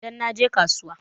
Idan naje kasuwa.